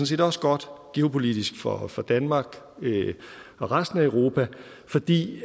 set også godt geopolitisk for for danmark og resten af europa fordi